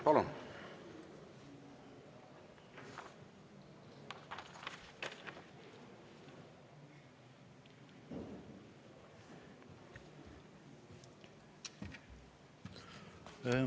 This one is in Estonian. Palun!